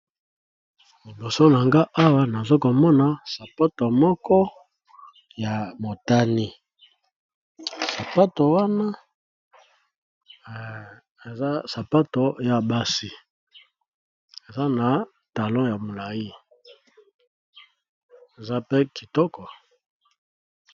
Liboso na nga awa nazo komona sapato moko ya motani sapato wana eza sapato ya basi eza na talon ya molayi eza mpe kitoko.